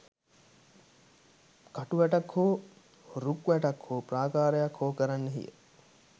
කටු වැටක් හෝ, රුක් වැටක් හෝ ප්‍රාකාරයක් හෝ කරන්නෙහිය.